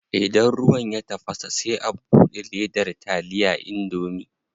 Idan ruwan ya tafasa sai a bude ledar taliya indomie.